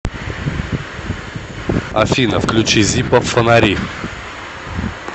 афина включи зиппо фонари